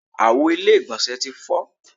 Àwo ilé ìgbọ̀nsẹ̀ ti fọ́.